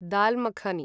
दाल् मखानी